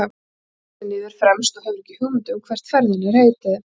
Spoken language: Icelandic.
Hlammar sér niður fremst og hefur ekki hugmynd um hvert ferðinni er heitið.